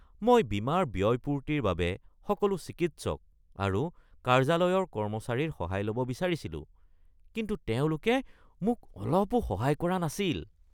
মই বীমাৰ ব্যয়পূৰ্তিৰ বাবে সকলো চিকিৎসক আৰু কাৰ্যালয়ৰ কৰ্মচাৰীৰ সহায় ল’ব বিচাৰিছিলোঁ। কিন্তু তেওঁলোকে মোক অলপো সহায় কৰা নাছিল।